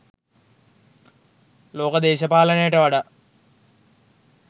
ලෝක දේශපාලනයට වඩා